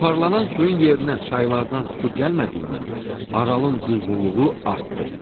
Buxarlanan suyun yerinə çaylardan su gəlmədiyindən Aralın duzluluğu artdı.